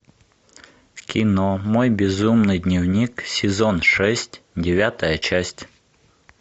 кино мой безумный дневник сезон шесть девятая часть